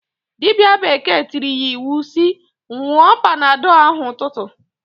Dibia bekee tiiri ya iwu si, "nwụọ panadọl ahụ 'ụtụtụ!"